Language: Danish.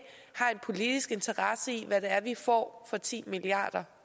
har en politisk interesse i hvad det er vi får for ti milliard